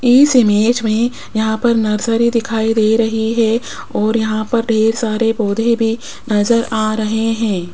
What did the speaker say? इस इमेज में यहां पर नर्सरी दिखाई दे रही है और यहां पर ढेर सारे पौधे भी नजर आ रहे हैं।